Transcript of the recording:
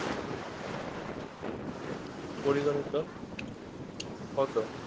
পরিগনিত হতো